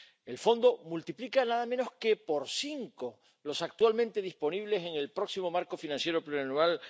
El Fondo multiplica nada menos que por cinco los importes actualmente disponibles en el próximo marco financiero plurianual